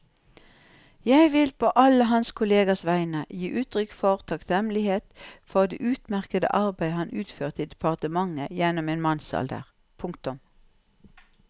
Jeg vil på alle hans kollegers vegne gi uttrykk for takknemlighet for det utmerkede arbeid han utførte i departementet gjennom en mannsalder. punktum